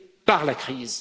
par la crise